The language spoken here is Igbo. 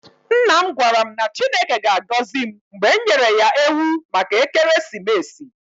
Nna m gwara m na Chineke ga-agọzi m mgbe m nyere ya ewu maka ekeresimesi.